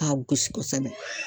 K'a gosi kosɛbɛ